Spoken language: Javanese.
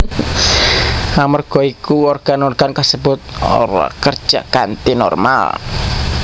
Amarga iku organ organ kasebut ora kerja kanthi normal